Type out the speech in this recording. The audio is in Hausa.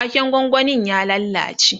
waken gwangwanin ya lallace